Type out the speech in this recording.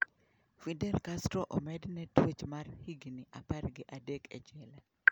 Fidel Castro omedne twech mar higni apar gi adek e jela.